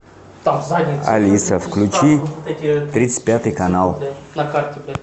алиса включи тридцать пятый канал